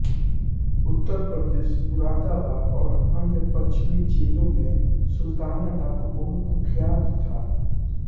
उत्तर प्रदेश मुरादाबाद और अन्य पश्चिमी जेलों में सुलताना डाकू बहुत कुख्यात था